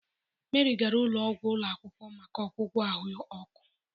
Meri gara ụlọ ọgwụ ụlọ akwụkwọ maka ọgwụgwọ ahụ ọkụ.